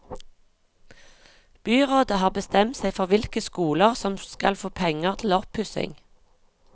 Byrådet har bestemt seg for hvilke skoler som skal få penger til oppussing.